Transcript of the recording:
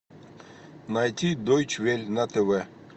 найти дойч вель на тв